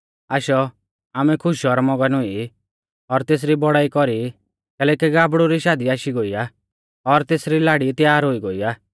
आशौ आमै खुश और मगन हुई और तेसरी बौड़ाई कौरी कैलैकि गाबड़ु री शादी आशी गोई आ और तेसरी लाड़ी त्यार हुई गोई आ